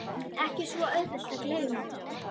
Ekki svo auðvelt að gleyma